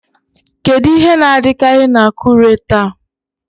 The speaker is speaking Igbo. Kedu ihe na-adịkarị na Akure taa?